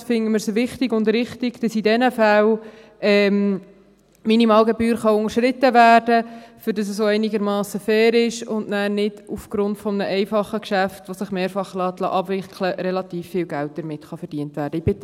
Dementsprechend finden wir es wichtig und richtig, dass in diesen Fällen die Minimalgebühr unterschritten werden kann, damit es auch einigermassen fair ist und nachher nicht aufgrund eines einfachen Geschäfts, das sich mehrfach abwickeln lässt, relativ viel Geld damit verdient werden kann.